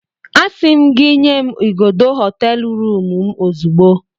Asị m gị nye m igodo hoteelu rụmụ m ozugbo